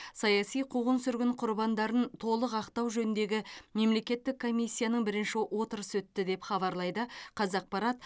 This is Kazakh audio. саяси қуғын сүргін құрбандарын толық ақтау жөніндегі мемлекеттік комиссияның бірінші отырысы өтті деп хабарлайды қазақпарат